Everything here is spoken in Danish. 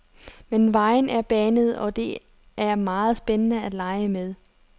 Men vejen er banet, og det er meget spændende at lege med.